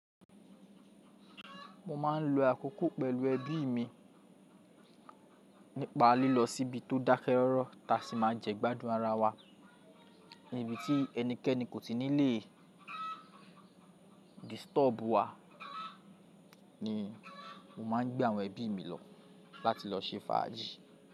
Mo ma ń lọ akọ́kọ́ pẹ̀lú ẹbí mi nípa lílọ síbi tó dákẹ́ rọ́rọ́ ta sì máa jẹ́gbádùn ara wa. Níbi tí ẹní kẹ́ní kò tíi ní lè disturb wa ni mo máa ń gbé àwọn ẹbí mi lọ láti lọ ṣe fàájì.